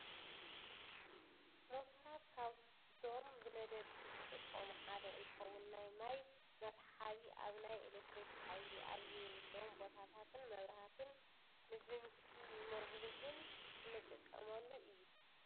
ሞተራት ካብዞም ብነደድቲ ዝጥቀሙ ሓደ እንትኸውን ናይ ማይ መስሓቢ፣ ኣብ ናይ ኤሌክትሪክ ሓይሊ ኣብ ዘይብሎም ቦታትን ንመብራህትን ንድምፂ መጉልህን እንትጠቀመሉ እዩ።